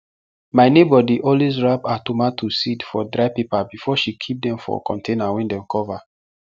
my neighbour dey always wrap her tomato seed for dry paper before she keep dem for container wey dem cover